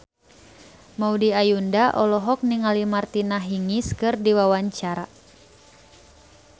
Maudy Ayunda olohok ningali Martina Hingis keur diwawancara